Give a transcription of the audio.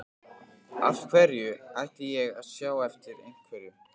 Af hverju ætti ég að sjá eftir einhverju?